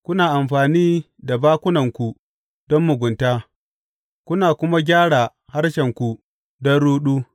Kuna amfani da bakunanku don mugunta kuna kuma gyara harshenku don ruɗu.